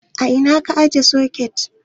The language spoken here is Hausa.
A ina ka ajiye soket?